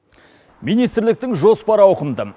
министрліктің жоспары ауқымды